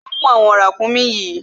Kíló mú àwọn ràkúnmí yìí?